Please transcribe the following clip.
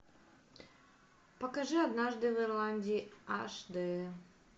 покажи однажды в ирландии аш дэ